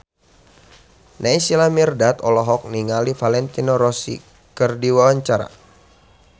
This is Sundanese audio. Naysila Mirdad olohok ningali Valentino Rossi keur diwawancara